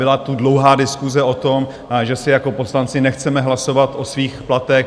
Byla tu dlouhá diskuse o tom, že si jako poslanci nechceme hlasovat o svých platech.